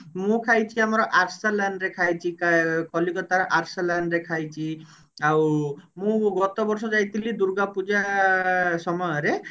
ମୁଁ ଖାଇଛି ଆମର ଆରସଲନ ରେ ଖାଇଛି କ କଲିକତାର ଆରସଲନ ରେ ଖାଇଛି ଆଉ ମୁଁ ଗତ ବର୍ଷ ଯାଇଥିଲି ଦୂର୍ଗା ପୂଜା ସମୟରେ